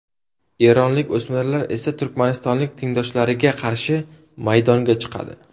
Eronlik o‘smirlar esa turkmanistonlik tengdoshlariga qarshi maydonga chiqadi.